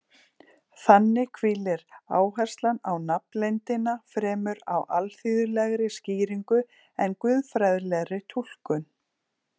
Þannig hvílir áherslan á nafnleyndina fremur á alþýðlegri skýringu en guðfræðilegri túlkun.